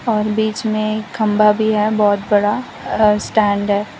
और बीच में एक खंभा भी है बहुत बड़ा अह स्टैंड है।